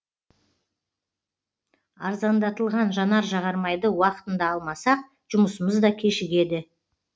арзандатылған жанар жағармайды уақытында алмасақ жұмысымыз да кешігеді